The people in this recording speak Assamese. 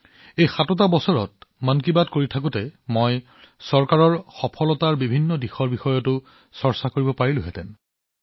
এই সাত বছৰতমন কী বাতৰ সময়ত মই চৰকাৰৰ সাফল্যৰ বিষয়েও আলোচনা কৰিব পাৰিলোহেঁতেন